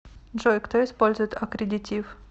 джой кто использует аккредитив